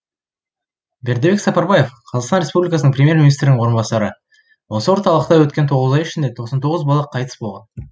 бердібек сапарбаев қазақстан республикасының премьер министрінің орынбасары осы орталықта өткен тоғыз ай ішінде тоқсан тоғыз бала қайтыс болған